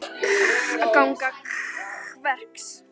Þú verður að ganga rösklega til verks.